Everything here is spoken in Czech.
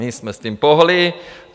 My jsme s tím pohnuli!